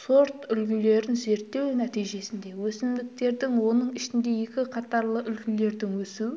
сортүлгілерін зерттеу нәтижесінде өсімдіктердің оның ішінде екі қатарлы үлгілердің өсу